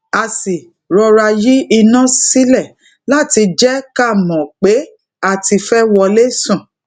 a sì rọra yi iná sílè láti jé ká mò pé a ti fé wole sùn